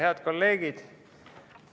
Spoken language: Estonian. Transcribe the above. Head kolleegid!